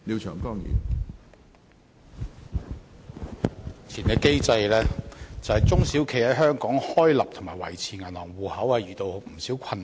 在目前的機制下，中小企在香港開立和維持銀行帳戶方面遇到不少困難。